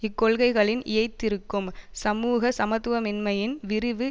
இக்கொள்கைகளில் இயைந்திருக்கும் சமுக சமத்துவமின்மையின் விரிவு